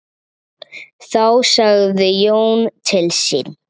Þá sagði Jón til sín.